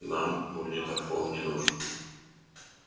нам магнитофон не нужен